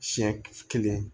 Siɲɛ kelen